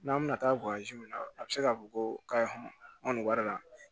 N'an bɛna taa min na a bɛ se k'a fɔ ko kayi ma nin wari la